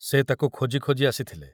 ସେ ତାକୁ ଖୋଜି ଖୋଜି ଆସିଥିଲେ।